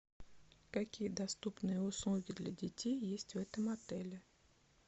какие доступные услуги для детей есть в этом отеле